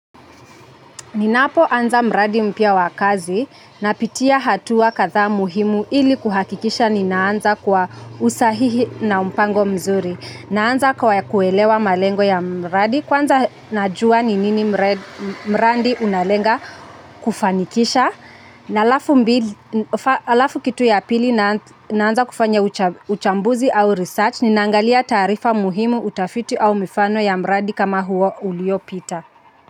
Ninapo anza mradi mpya wa kazi na pitia hatua kadha muhimu ili kuhakikisha ni naanza kwa usahihi na mpango mzuri. Naanza kwa kuelewa malengo ya mradi kwanza najua ni nini mradi unalenga kufanikisha. Na alafu kitu ya pili naanza kufanya uchambuzi au research ni naangalia taarifa muhimu utafiti au mifano ya mradi kama huo ulio pita.